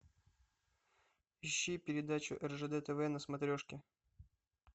ищи передачу ржд тв на смотрешке